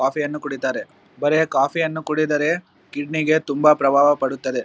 ಕಾಫಿಯನ್ನು ಕುಡಿತ್ತರೆ ಬರೆ ಕಾಫಿಯನ್ನು ಕುಡಿದರೆ ಕಿಡ್ನಿಗೆ ತುಂಬಾ ಪ್ರಬಾವ ಪಡುತ್ತದೆ.